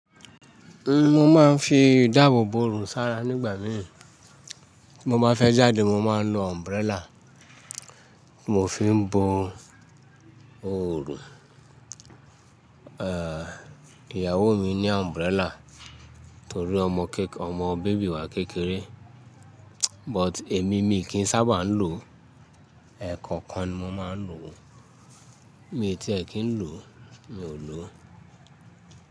Mo máa ń fi ìdáàbò bo òrùn sára nígbà míì. Mo bá fẹ́ jáde mo máa ń lo umbrella. Mo fi ń bo òrùn. Ìyàwó mi ní umbrella torí ọmọ keke, tori ọmọ baby wà kékeré. But èmi, mi kì ń sábà ń lò. Ẹ̀ẹ̀kọ̀kan ni mo máa ń lò. Mi tí ẹ̀ kí ń lò, mi ò lò.